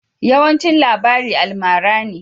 Yawancin labari almara ne.